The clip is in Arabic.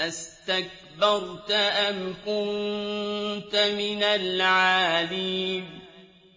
أَسْتَكْبَرْتَ أَمْ كُنتَ مِنَ الْعَالِينَ